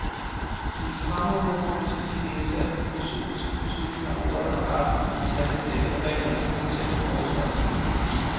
I min fremmedordbog kan man tillige læse, at den filosofiske betydning, af ordet er retten til at handle efter regler, som man selv har foreskrevet.